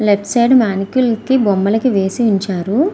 Left side మానికల్స్ కి బొమ్మలు వేసి ఉంచారు.